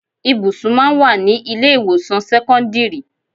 Ibùsùn máa ń wà ní ilé ìwòsàn sẹ́kọ́ńdírì.